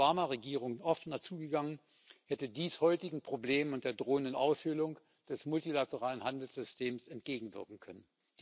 auf die Obama Regierung offener zugegangen, hätte dies heutigen Problemen und der drohenden Aushöhlung des multilateralen Handelssystems entgegenwirken können.